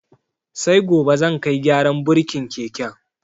Sai gobe zan kai gyaran burkin keken.